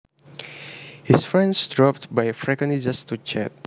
His friends dropped by frequently just to chat